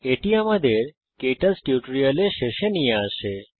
এটি আমাদের কে টচ টিউটোরিয়ালের শেষে নিয়ে আসে